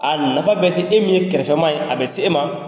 A nafa bɛ se e min ye kɛrɛfɛ maa ye a bɛ se e ma